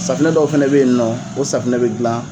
Safunɛ dɔw fana be yen nɔ, o safunɛ be gilan.